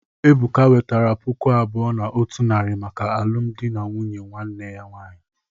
Ebuka wetara puku abuo na otu naari maka alụmdi nwanne ya nwaanyị.